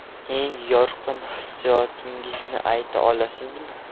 Eng yorqin hissiyotingizni ayta olasizmi?